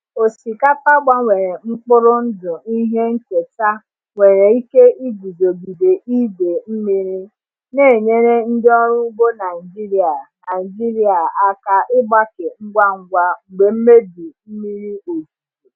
Osikapa gbanwere mkpụrụ ndụ ihe nketa nwere ike iguzogide idei mmiri, na-enyere ndị ọrụ ugbo Naijiria Naijiria aka ịgbake ngwa ngwa mgbe mmebi mmiri ozuzo mere.